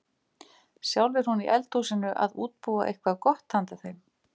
Sjálf er hún í eldhúsinu að útbúa eitthvað gott handa þeim.